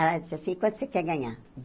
Ela disse assim, quanto você quer ganhar?